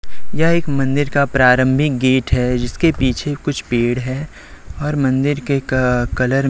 यह एक मंदिर का प्रारंभिक गेट है जिसके पीछे कुछ पेड़ है और मंदिर के क कलर --